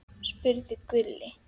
spurði Gulli.